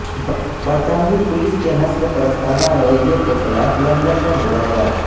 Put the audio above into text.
برطانوی پولیس کے نسل پرستانہ رویہ کیخلاف لندن میں مظاہرہ